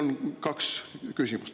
Need on minu kaks küsimust.